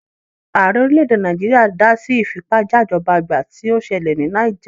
Ààrẹ orílẹ̀-èdè Nàìjíríà dá sí ìfipájajọ́bagbà tí ó ṣẹlẹ̀ ní Náíjà.